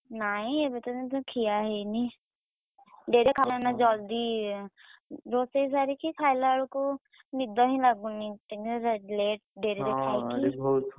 ନାଇଁ ଏବେ ପର୍ଯ୍ୟନ୍ତ ଖିଆ ହେଇନି, ଡେରିରେ ଖାଇଲୁ ନା ଜଲ୍‌ଦି ରୋଷେଇ ସାରିକି ଖାଇଲାବେଳକୁ ନିଦ ହିଁ ଲାଗୁନି ଡେରିରେ ,